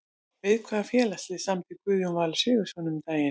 Við hvaða félagslið samdi Guðjón Valur Sigurðsson um daginn?